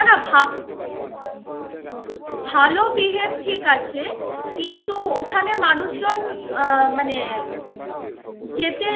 না না ভা~ behave ঠিক আছে কিন্তু ওখানে মানুষজন আহ মানে যেতে